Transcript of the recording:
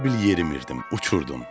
Elə bil yerimiridim, uçurdum.